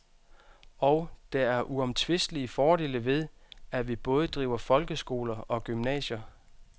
Og der er uomtvistelige fordele ved, at vi både driver folkeskoler og gymnasier.